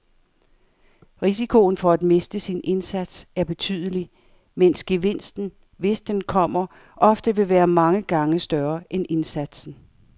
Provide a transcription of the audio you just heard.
Risikoen for at miste sin indsats er betydelig, mens gevinsten, hvis den kommer, ofte vil være mange gange større end indsatsen.